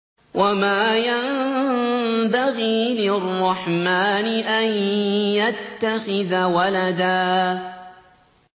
وَمَا يَنبَغِي لِلرَّحْمَٰنِ أَن يَتَّخِذَ وَلَدًا